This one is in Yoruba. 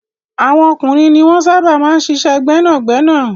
Àwọn ọkùnrin ni wọ́n sábà máa ń ṣiṣẹ́ gbẹ́nàgbẹ́nà.